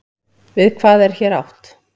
Við hvað er hér átt?